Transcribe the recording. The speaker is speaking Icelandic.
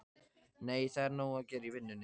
Nei, það er nóg að gera í vinnunni.